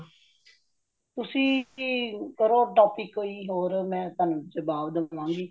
ਤੁਸੀਂ ਕੀ ਕਰੋ ,topic ਕੋਈ ਮੈ ਤੁਹਾਨੂੰ ਜਵਾਬ ਦਵਾਂਗੀ